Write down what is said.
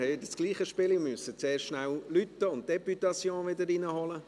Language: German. Es ist wieder dasselbe Spiel, wir müssen kurz läuten und die Députation wieder hereinholen.